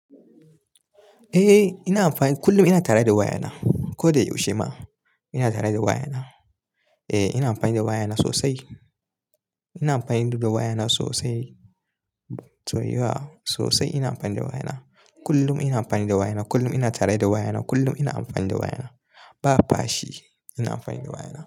Eh, ina amfani, kullum ina tare da wayana. Ko da yaushe ma ina tare da wayana. Eh, ina amfani da wayana sosai. Ina amfani da wayana sosai. To yauwa, sosai ina amfani da wayana. Kullum ina amfani da wayana. Kullum ina tare da wayana. Kullum ina amfani da wayana. Ba fashi ina amfani da wayana.